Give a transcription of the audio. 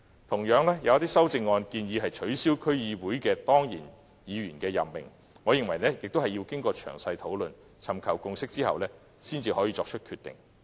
同樣地，有一些修正案建議取消區議會當然議員的議席，我認為亦要經過詳細討論，尋求共識後才可作出決定。